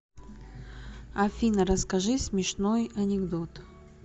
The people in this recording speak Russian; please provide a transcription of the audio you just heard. афина расскажи смешной анекдот